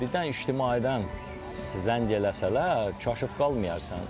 birdən ictimaiyyətdən zəng eləsələr, qaşıq qalmıyarsan.